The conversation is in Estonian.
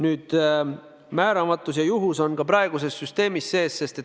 Nüüd, määramatus ja juhus on ka praeguses süsteemis sees.